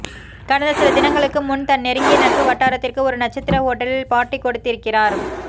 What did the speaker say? கடந்த சில தினங்களுக்கு முன் தன் நெருங்கிய நட்பு வட்டாரத்திற்கு ஒரு நட்சத்திர ஓட்டலில் பார்ட்டி கொடுத்திருக்கிறார்